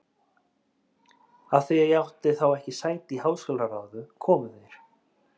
Af því að ég átti þá ekki sæti í háskólaráði, komu þeir